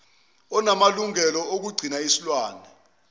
onamalungelo okugcina isilwane